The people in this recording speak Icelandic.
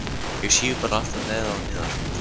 Ég síg bara alltaf neðar og neðar